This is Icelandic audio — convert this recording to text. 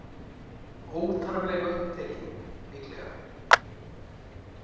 Óþarflega upptekin, líklega.